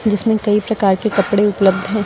जिसमें कई प्रकार के कपड़े उपलब्ध हैं।